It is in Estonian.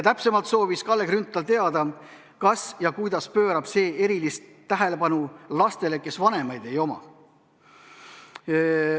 Täpsemalt soovis Kalle Grünthal teada, kas ja kuidas pöörab see erilist tähelepanu lastele, kellel vanemaid ei ole.